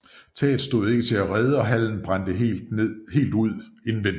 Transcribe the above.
Taget stod ikke til at redde og hallen brændte helt ud indvendig